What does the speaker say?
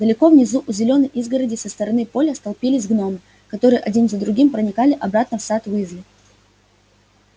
далеко внизу у зелёной изгороди со стороны поля столпились гномы которые один за другим проникали обратно в сад уизли